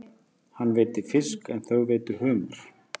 Hann veiddi fisk en þau veiddu humar.